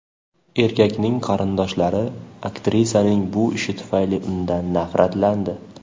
Erkakning qarindoshlari aktrisaning bu ishi tufayli undan nafratlandi.